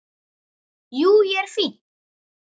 Jú, ég er fínn.